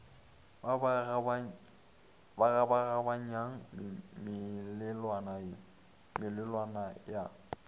ba ba kgabaganyang melelwane ya